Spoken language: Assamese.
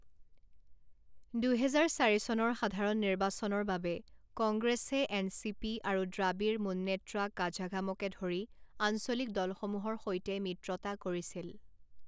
দুহেজাৰ চাৰি চনৰ সাধাৰণ নিৰ্বাচনৰ বাবে, কংগ্ৰেছে এনচিপি আৰু দ্ৰাবিড় মুন্নেত্ৰা কাঝাগমকে ধৰি আঞ্চলিক দলসমূহৰ সৈতে মিত্ৰতা কৰিছিল।